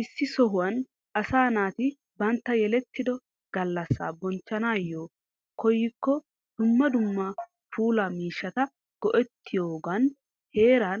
Issi sohuwan asaa naati bantta yelettido gallassa bonchchanaayo koyyikko dumma dumma puulaa miishshata go'ettiyogan heeraa